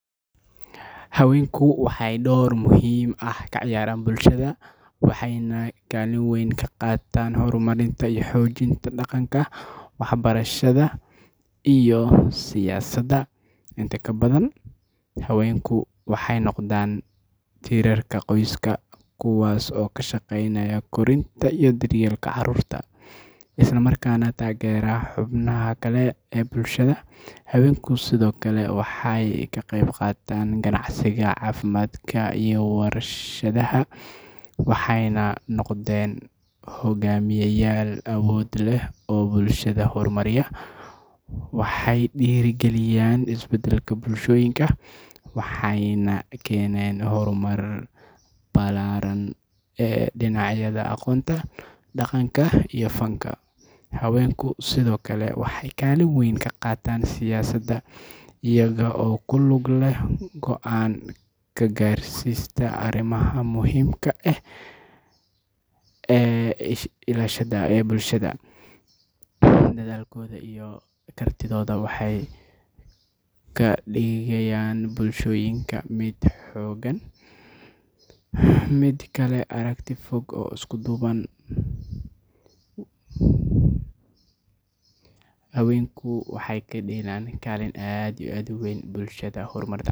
Haweenku waxay door muhiim ah ka ciyaaraan bulshada, waxayna kaalin weyn ka qaataan horumarinta iyo xoojinta dhaqanka, waxbarashada, iyo siyaasadda. Inta badan, haweenku waxay noqdaan tiirarka qoyska, kuwaas oo ka shaqeeya koritaanka iyo daryeelka carruurta, isla markaana taageera xubnaha kale ee bulshada. Haweenku sidoo kale waxay ka qeybqaataan ganacsiga, caafimaadka, iyo warshadaha, waxayna noqdeen hogaamiyeyaal awood leh oo bulshada horumariya. Waxay dhiirrigeliyaan isbeddelka bulshooyinka, waxayna keeneen horumar ballaaran ee dhinacyada aqoonta, dhaqanka, iyo fanka. Haweenku sidoo kale waxay kaalin weyn ka qaataan siyaasadda, iyaga oo ku lug leh go'aan ka gaarista arrimaha muhiimka ah ee bulshada. Dadaalkooda iyo kartidooda waxay ka dhigayaan bulshooyinka mid xooggan, mid leh aragti fog, oo isku duuban. hawenku waxay kadigaan kalin aad iyo muhiim ugu ah bulshada.